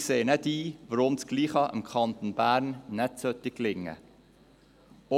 Wir sehen nicht ein, warum dasselbe dem Kanton Bern nicht auch gelingen sollte.